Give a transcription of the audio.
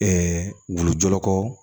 wulu jɔlɔkɔ